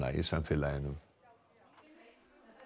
í samfélaginu